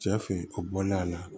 Cɛ fe a bɔlen a la